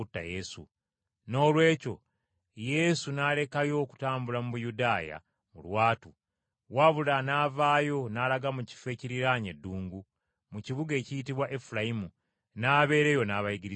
Noolwekyo, Yesu n’alekayo okutambula mu Buyudaaya mu lwatu, wabula n’avaayo n’alaga mu kifo ekiriraanye eddungu, mu kibuga ekiyitibwa Efulayimu, n’abeera eyo n’abayigirizwa be.